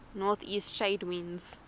northeast trade winds